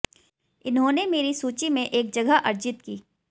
इन्होंने मेरी सूची में एक जगह अर्जित की